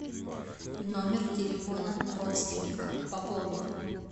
номер телефона родственника пополнить